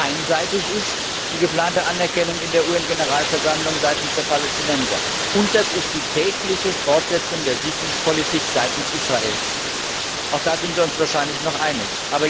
Einseitig ist die geplante Anerkennung in der UN Generalversammlung seitens der Palästinenser, und einseitig ist die tägliche Fortsetzung der Siedlungspolitik seitens Israels. Auch da sind wir uns wahrscheinlich noch einig.